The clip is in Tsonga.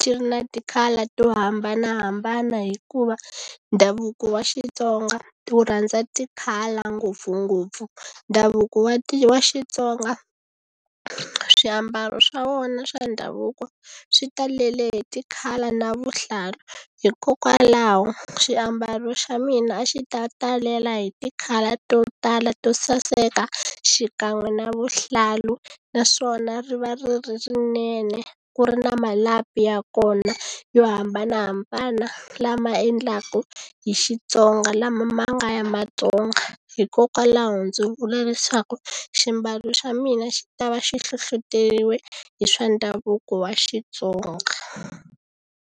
ti ri na ti-colour to hambanahambana hikuva ndhavuko wa Xitsonga wu rhandza ti-colour ngopfungopfu ndhavuko wa wa Xitsonga swiambalo swa vona swa ndhavuko swi talele hi ti-colour na vuhlalu hikokwalaho xiambalo xa mina a xi ta talela hi ti-colour to tala to saseka xikan'we na vuhlalu naswona ri va ri ri rinene ku ri na malapi ya kona yo hambanahambana lama endlaku hi Xitsonga lama ma nga ya Matsonga hikokwalaho ndzi vula leswaku ximbalo xa mina xi ta va xi hlohloteriweke hi swa ndhavuko wa Xitsonga.